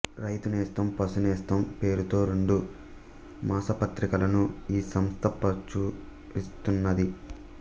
రైతునేస్తం పశునేస్తం పేరుతో రెండు మాసపత్రికలను ఈ సంస్థ ప్రచురిస్తున్నది